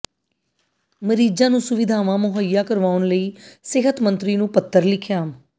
ਮਰੀਜਾਂ ਨੂੰ ਸੁਵਿਧਾਵਾਂ ਮੁਹਈਆ ਕਰਵਾਉਣ ਲਈ ਸਿਹਤ ਮੰਤਰੀ ਨੂੰ ਪੱਤਰ ਲਿਖਿਆ